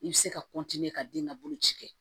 I bɛ se ka ka den ka boloci kɛ